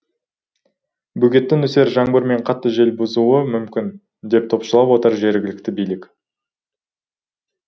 бөгетті нөсер жаңбыр мен қатты жел бұзуы мүмкін деп топшылап отыр жергілікті билік